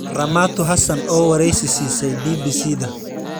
Ramatu Hassan oo wareysi siisay BBC-da.